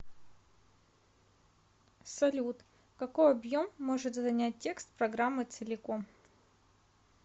салют какой объем может занять текст программы целиком